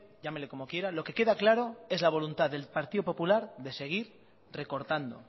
llámele como quiera lo que queda claro es la voluntad del partido popular de seguir recortando